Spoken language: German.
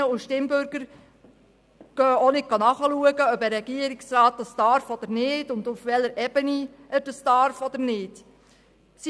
Die Stimmbürgerinnen und Stimmbürger schauen auch nicht nach, ob ein Regierungsrat das darf oder nicht und auf welcher Ebene er es darf oder nicht darf.